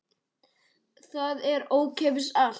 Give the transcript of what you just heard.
Það er ókeypis allt.